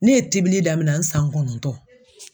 Ne ye tibili daminɛ n san kɔnɔntɔn.